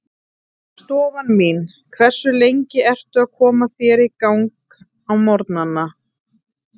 Stofan mín Hversu lengi ertu að koma þér í gang á morgnanna?